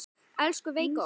Elsku Veiga okkar.